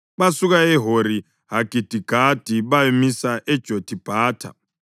Basuka eHori-Hagidigadi bayamisa eJothibhatha.